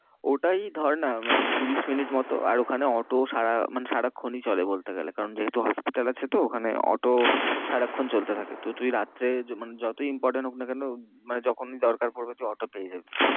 ওটা এই ধর না মানে ত্রিশ minutes মতো। আর ওখানে অটো সারা মানে সারাক্ষণই চলে বলতে গেলে। কারণ যেহেতু hospital আছে তো ওখানে অটো সারাক্ষন চলতে থাকে। তো তুই রাত্রে মানে যতই important হোক না কেন মানে যখনই দরকার পড়বে তুই অটো পেয়ে যাবি।